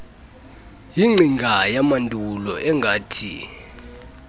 yingcinga yamandulo engathi